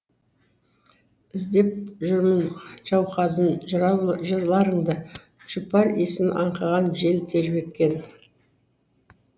іздеп жүрмін жауқазын жырларыңды жұпар исін аңқыған жел тербеткен